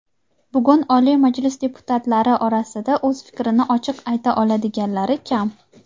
Bugun Oliy Majlis deputatlari orasida o‘z fikrini ochiq ayta oladiganlari kam.